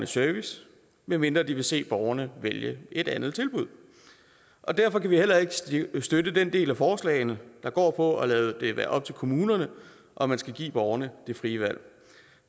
service medmindre de vil se borgerne vælge et andet tilbud derfor kan vi heller ikke støtte de dele af forslagene der går på at lade det være op til kommunerne om man skal give borgerne det frie valg